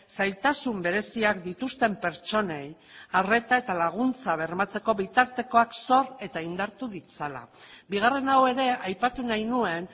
zailtasun bereziak dituzten pertsonei arreta eta laguntza bermatzeko bitartekoak sor eta indartu ditzala bigarren hau ere aipatu nahi nuen